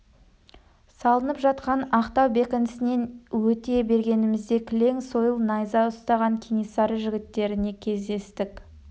салынып жатқан ақтау бекінісінен өте бергенімізде кілең сойыл найза ұстаған кенесары жігіттеріне кездестік